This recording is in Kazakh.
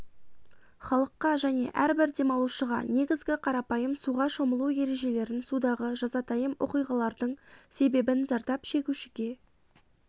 халыққа және әрбір демалушыға негізгі қарапайым суға шомылу ережелерін судағы жазатайым оқиғалардың себебін зардап шегушіге